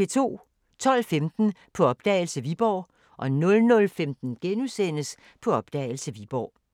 12:15: På opdagelse – Viborg 00:15: På opdagelse – Viborg *